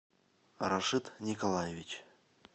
рашид николаевич